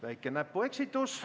Väike näpueksitus.